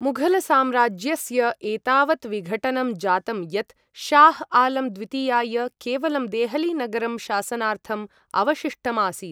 मुघलसाम्राज्यस्य एतावत् विघटनं जातम् यत् शाह् आलम् द्वितीयाय केवलं देहलीनगरं शासनार्थम् अवशिष्टम् आसीत्।